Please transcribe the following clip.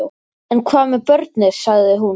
En hvað með börnin, sagði hún.